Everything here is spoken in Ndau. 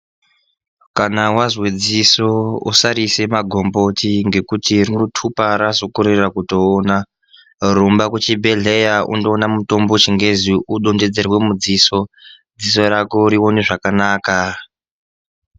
Kana wazwe dziso usariise magomboti ngekuti rinotupa razokorera kutoona rumba kuchibhehleya unondoona mutombo wechingezi udonhodzerwe mudziso dziso rako rione zvakanaka.